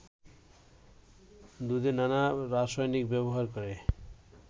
দুধে নানা রাসায়নিক ব্যবহার করে